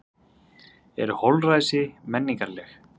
Eru holræsi menningarleg?